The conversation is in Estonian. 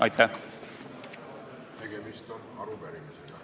Aitäh!